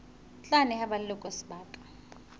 tla neha ba leloko sebaka